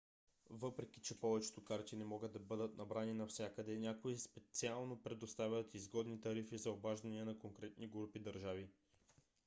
въпреки че повечето карти могат да бъдат набрани навсякъде някои специално предоставят изгодни тарифи за обаждания за конкретни групи държави